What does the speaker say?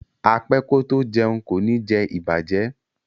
A pe ko to jeun ko ni je ibaje